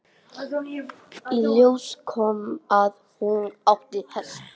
Í ljós kom að hún átti hest.